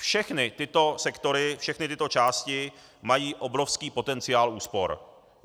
Všechny tyto sektory, všechny tyto části mají obrovský potenciál úspor.